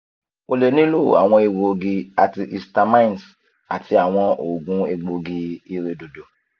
o le nilo awọn egboogi antihistamines ati awọn oogun egboogi-iredodo